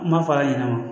N b'a fɔ a ɲɛna